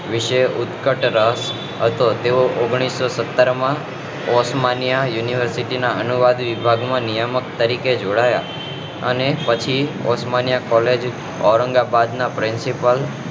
વિશે ઉત્ક્કત હતો તેઓ ઓન્ગ્લીસો સત્તર માં ઓથ્માન્ય યુનીવર્સીટી ના અનુવાદી વિભાગ માં નિયામક તરીકે જોડાયા અને પછી લોમાન્ય કોલેજ ઔરંગાબાદ ના